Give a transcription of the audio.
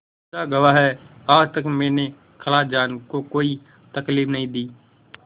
खुदा गवाह है आज तक मैंने खालाजान को कोई तकलीफ नहीं दी